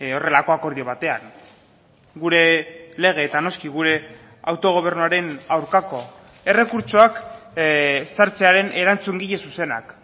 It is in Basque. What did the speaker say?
horrelako akordio batean gure lege eta noski gure autogobernuaren aurkako errekurtsoak sartzearen erantzungile zuzenak